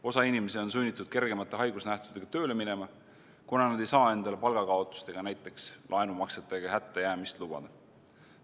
Osa inimesi on sunnitud kergemate haigusnähtudega tööle minema, kuna nad ei saa endale palgakaotust ega näiteks laenumaksetega hättajäämist lubada.